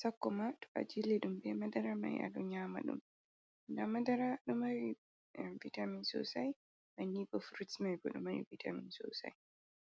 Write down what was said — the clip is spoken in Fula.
sakoma to a jille ɗum be madara mai aɗo nyama ɗum ngam madara ɗo mari vitamin sosai bannin bo fruts mai bo ɗo mari vitamin sosai.